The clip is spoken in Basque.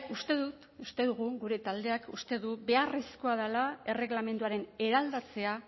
uste dut uste dugu gure taldeak uste du beharrezkoa dela erregelamenduaren eraldatzea